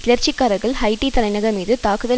கிளர்ச்சிக்காரர்கள் Haiti தலைநகர் மீது தாக்குதல்